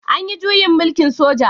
An yi juyin mulkin soja?